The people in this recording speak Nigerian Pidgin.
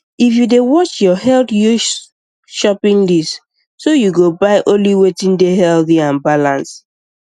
if you dey watch your health use shopping list so you go buy only wetin dey healthy and balance